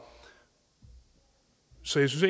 synes